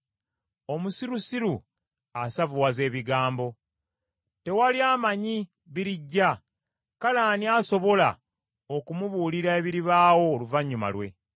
Omusirusiru asavuwaza ebigambo. Tewali amanyi birijja, kale ani asobola okumubuulira ebiribaawo oluvannyuma lwe?